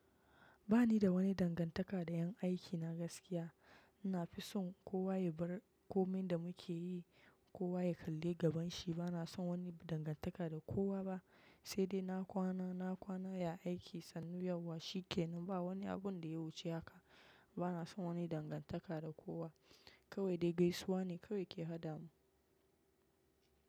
Ba ni da wani dangantaka da 'yan aikina gaskiya. Ina fi son kowa yabar komi da mukeyi kowa ya kalli gaban shi bana son wani dangantaka da kowa ba, sai dai na kwana, na kwana ya aiki, sannu yauwa shi ke. Nan ba wani abun da ya wuce haka. Bana son wani dangantaka da kowa. Kawai dai gaisuwa ne kawai ke haɗa mu.